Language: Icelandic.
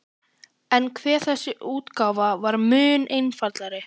En hve þessi útgáfa var mun einfaldari!